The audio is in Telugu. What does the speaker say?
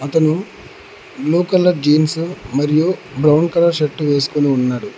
అతను బ్లూ కలర్ జీన్స్ మరియు బ్రౌన్ కలర్ షర్టు వేసుకొని ఉన్నాడు.